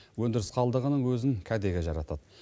өндіріс қалдығының өзін кәдеге жаратады